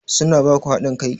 Su na ba ku haɗin kai?